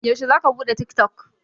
Yaushe za ka buɗe tik tok?